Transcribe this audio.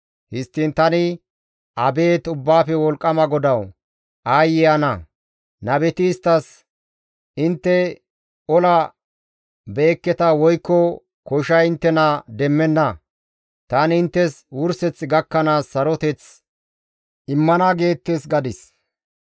Histtiin tani, «Abeet Ubbaafe wolqqama GODAWU! Aayye ana! Nabeti isttas, ‹Intte ola be7ekketa woykko koshay inttena demmenna; tani inttes wurseth gakkanaas saroteth immana› geettes» gadis.